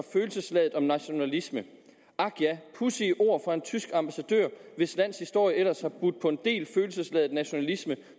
om følelsesladet nationalisme ak ja pudsige ord fra en tysk ambassadør hvis lands historie ellers har budt på en del følelsesladet nationalisme